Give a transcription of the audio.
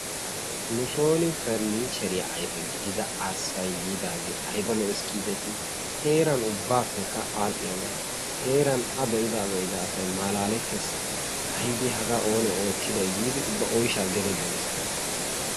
Nu soon paranichcheriyaappe ayfe giigida arssay yiidaage aybba lo"ees giideti heeran ubbappekka aadhdhiyaaga, heera a be'ida asay malaletees, aybba haga oonee oottiday giidi ubba oyshsha gede geliis.